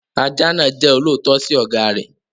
Ajá náà jẹ́ olóòótọ́ sí ọ̀gá rẹ̀.